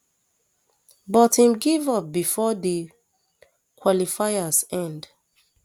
but im give up bifor di um qualifiers end